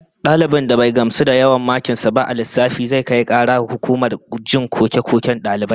Dalibin da bai gamsu da yawan makin sa ba a lissafi, zai kai kara ga hukumar jin koke-koken dalibai